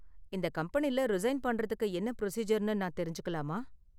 இந்த கம்பெனில, ரிசைன் பண்றதுக்கு என்ன பிரொசீஜர்னு நான் தெரிஞ்சுக்கலாமா?